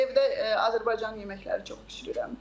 Mən evdə Azərbaycan yeməkləri çox bişirirəm.